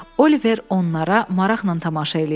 Oliver onlara maraqla tamaşa eləyirdi.